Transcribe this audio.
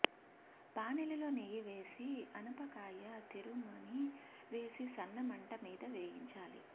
బాణలిలో నెయ్యి వేసి ఆనపకాయ తురుముని వేసి సన్న మంట మీద వేయించాలి